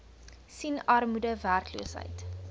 sien armoede werkloosheid